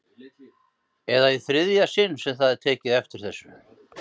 Eða í þriðja sinn sem það er tekið eftir þessu?